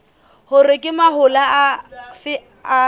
hore ke mahola afe a